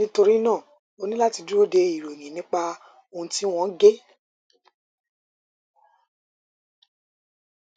nítorí náà o ní láti dúró de ìròyìn nípa ohun tí wọn gé